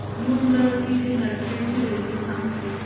new Amravati ते नरखेड ची railway सांग प्लीज